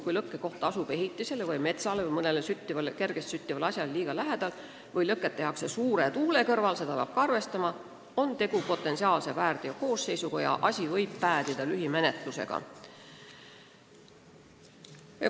Kui lõkkekoht asub ehitisele või metsale või mõnele kergesti süttivale asjale liiga lähedal või lõket tehakse suure tuule korral – seda peab ka arvestama –, on tegu potentsiaalse väärteokoosseisuga ja asi võib päädida lühimenetlusega.